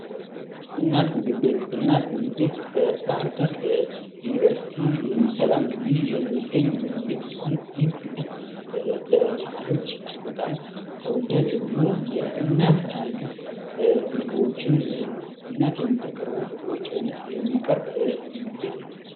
እናት ምግብ ቤት፦ እናት ምግብ ቤት በባህርዳር ዩኒቨርሲቲ ሰላም ግቢ የሚገኝ ምግብ ቤት ሲሆን ይህ ምግብ ቤት ለተማሪዎች እጅግ በጣም ተወዳጅ የሆኑ የእናት አይነት ምግቦችን እናት የምታቀርበውን ምግቦች አይነት የሚያቀርብ ምግብ ቤት ነው።